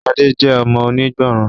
Shade jé ọmọ onígbọràn